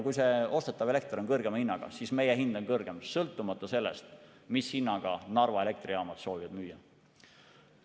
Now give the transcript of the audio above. Kui see ostetav elekter on kõrgema hinnaga, siis meie hind on kõrgem, sõltumata sellest, mis hinnaga Narva Elektrijaamad soovivad müüa.